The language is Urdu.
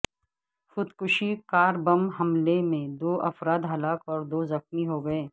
خودکش کار بم حملے میں دو افراد ہلاک اور دو زخمی ہو گئے